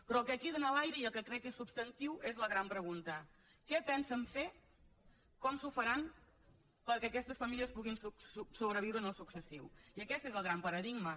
però el que queda en l’aire i el que crec que és substantiu és la gran pregunta què pensen fer com s’ho faran perquè aquestes famílies puguin sobreviure en el futur i aquest és el gran paradigma